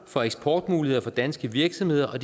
for eksportmuligheder for danske virksomheder og